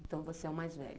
Então você é o mais velho.